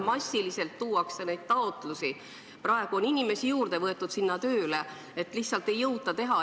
Massiliselt tuuakse neid taotlusi, praegu on inimesi sinna tööle juurde võetud, sest lihtsalt ei jõuta teha.